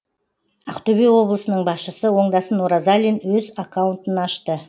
ақтөбе облысының басшысы оңдасын оразалин өз аккаунтын ашты